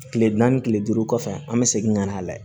Kile naani kile duuru kɔfɛ an bɛ segin ka n'a lajɛ